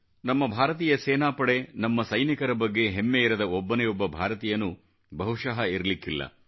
ನಮ್ಮ ಭಾರತೀಯ ಸೇನಾ ಪಡೆ ನಮ್ಮ ಸೈನಿಕರ ಬಗ್ಗೆ ಹೆಮ್ಮೆಯಿರದ ಒಬ್ಬನೇ ಒಬ್ಬ ಭಾರತೀಯನು ಬಹುಶಃ ಇರಲಿಕ್ಕಿಲ್ಲ